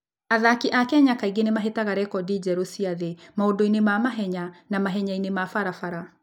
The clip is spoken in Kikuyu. Athaki a Kenya kaingĩ nĩ mahĩtaga rekondi njerũ cia thĩ maũndũ-inĩ ma mahenya na mahenya-inĩ ma barabara.